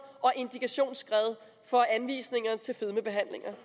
og indikationsskred på anvisninger til fedmebehandlinger